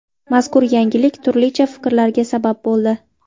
Mazkur yangilik turlicha fikrlarga sabab bo‘ldi.